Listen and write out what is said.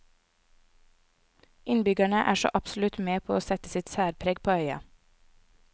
Innbyggerne er så absolutt med på å sette sitt særpreg på øya.